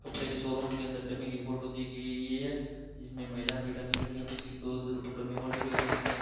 कपड़े के शोरूम के अंदर डमी की फोटो दी गई है जिसमें महिलाओं की डमी रखी है पीछे के दो डमी और दिखे है जिसने --